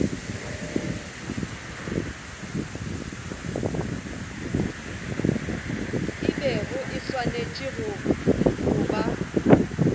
bego e swanetše go ba